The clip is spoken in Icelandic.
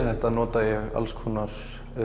þetta nota ég alls konar